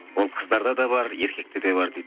ол қыздарда да бар еркектерде де бар дейді